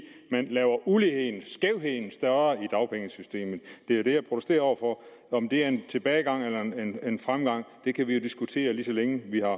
man laver uligheden skævheden større i dagpengesystemet det er det jeg protesterer overfor om det er en tilbagegang eller en fremgang kan vi jo diskutere lige så længe vi har